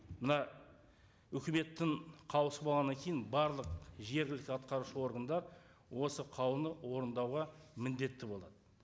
мына үкіметтің қаулысы болғаннан кейін барлық жергілікті атқарушы органдар осы қаулыны орындауға міндетті болады